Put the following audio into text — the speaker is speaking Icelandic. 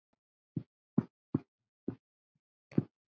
Hún var farin.